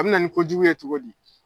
A bɛna nin kojugu ye cogo di?